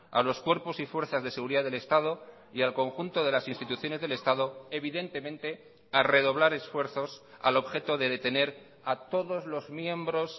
a los cuerpos y fuerzas de seguridad del estado y al conjunto de las instituciones del estado evidentemente a redoblar esfuerzos al objeto de detener a todos los miembros